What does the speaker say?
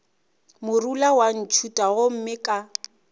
morula wa ntšhutha gomme ka